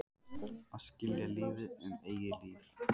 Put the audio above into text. Að skilja lífið um eigið líf.